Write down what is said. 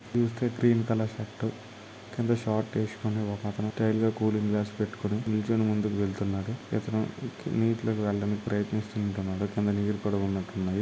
green colour shirt కింద short వెస్కొని ఒకతను స్టైల్గ కూలింగ్ గ్లాస్ పెట్టుకొని నిల్చొని ముందుకు వెళ్తున్నాడు నీటిలోకి వెళ్ళటానికి ప్రయత్--